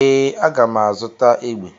Ee, a ga m azụta egbe.